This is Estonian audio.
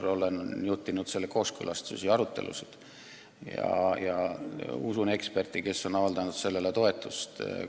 Ma olen juhtinud eelnõu kooskõlastusi ja arutelusid ning usun eksperti, kes on sellele toetust avaldanud.